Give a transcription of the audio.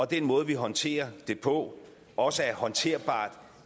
den måde vi håndterer det på også er håndterbart